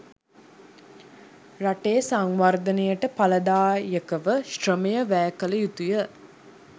රටේ සංවර්ධනයට ඵලදායකව ශ්‍රමය වැය කළ යුතුය